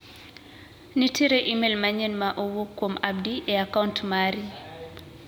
Nitiere imel manyien ma owuok kuom Abdi e a kaunt mari.